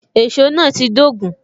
Èsó náà ti dogun